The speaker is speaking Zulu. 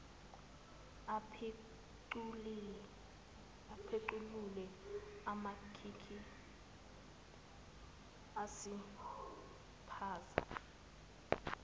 apequlule amakhikhi usiphaza